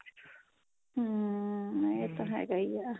hm ਇਹ ਤਾਂ ਹੈਗਾ ਈ ਏ